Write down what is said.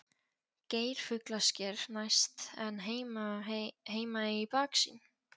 Geirfuglasker næst en Heimaey í baksýn.